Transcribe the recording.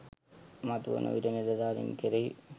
මතුවන විට නිලධාරින් කෙරෙහි